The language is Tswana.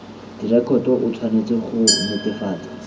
direkoto o tshwanetse go netefatsa